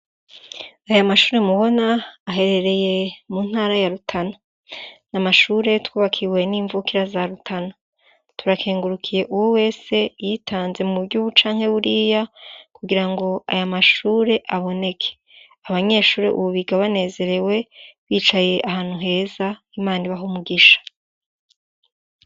Ayo mashure mubona aherereye mu ntara ya Rutana. Ni amashure twubakiwe n'imvukira za Rutana. Turakengurukiye uwo wese yitanze mu buryo ubu canke buriya kugirango ayo mashure aboneke. Abanyeshure ubu biga banezerewe bicaye ahantu heza, Imana ibahe umugisha.